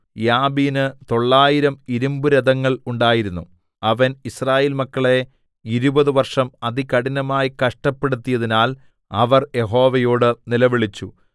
യാബീന് തൊള്ളായിരം ഇരിമ്പുരഥങ്ങൾ ഉണ്ടായിരുന്നു അവൻ യിസ്രായേൽ മക്കളെ ഇരുപത് വർഷം അതികഠിനമായി കഷ്ടപ്പെടുത്തിയതിനാൽ അവർ യഹോവയോട് നിലവിളിച്ചു